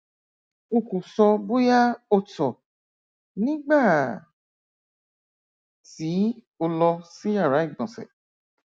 o kò sọ bóyá o tọ nígbà tí o lọ sí yàrá ìgbọnsẹ